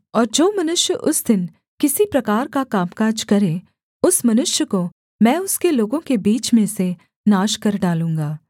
और जो मनुष्य उस दिन किसी प्रकार का कामकाज करे उस मनुष्य को मैं उसके लोगों के बीच में से नाश कर डालूँगा